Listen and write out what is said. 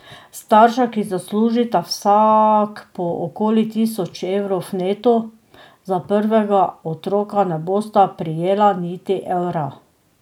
Starša, ki zaslužita vsak po okoli tisoč evrov neto, za prvega otroka ne bosta prejela niti evra.